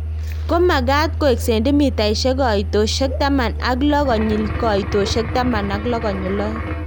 ko magat koek cendimitaishek koitoshek taman ak loo konyil koitoshek taman ak loo konyil oeng